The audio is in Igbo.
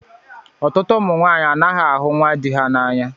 Ọtụtụ ụmụ nwanyị anaghị ahụ nwa di ha n'anya